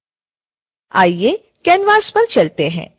आइए canvas पर चलते हैं